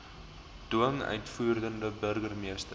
dwing uitvoerende burgermeester